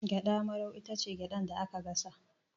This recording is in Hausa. Gyaɗa marau itace gyaɗar da aka gasa